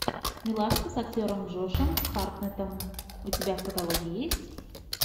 милашка с актером джошем хартнетом у тебя в каталоге есть